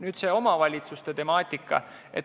Nüüd, see omavalitsuste temaatika.